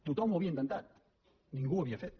tothom ho havia intentat ningú ho havia fet